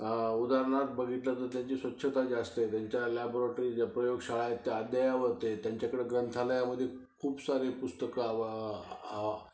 उदाहरणार्थ बघितलं तर त्यांची स्वच्छता जास्त आहे, त्यांच्या लांबरोटरीज, ज्या प्रयोगगशाळा आहेत त्या अद्ययावत आहेत, त्यांच्याकडे ग्रंथालयामध्ये खूप सारी पुस्तकं